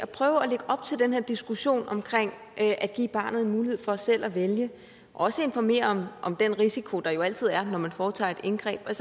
prøver at lægge op til den her diskussion om at give barnet mulighed for selv at vælge og også informere om den risiko der jo altid er når man foretager et indgreb at